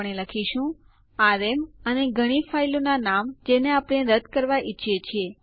આ યુઝરને તેની હોમ ડિરેક્ટરી સાથે રદ કરે છે